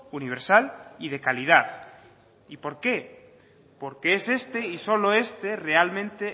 universal y de calidad y porque porque es este y solo este realmente